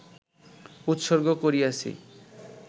উৎসর্গ করিয়াছি